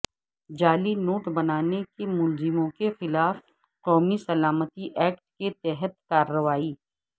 جعلی note بنانے کے ملزموں کے خلاف قومی سلامتی ایکٹ کے تحت کارروائی